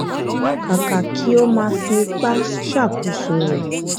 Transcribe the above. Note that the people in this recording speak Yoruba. kàkà kí ó máa fi ipa ṣàkóso rẹ